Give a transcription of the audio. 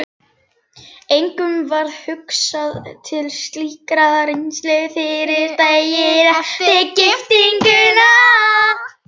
Engum varð hugsað til slíkrar reisu fyrren daginn eftir giftinguna.